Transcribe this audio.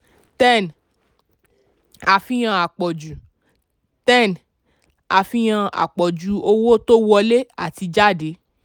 ten àfihàn àpọ̀jù ten àfihàn àpọ̀jù owó tó wọlé àti jáde.